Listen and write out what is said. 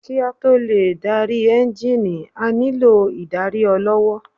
Kí a tó lè dárí ẹ́ngìnì, a nílò ìdarí ọlọ́wọ́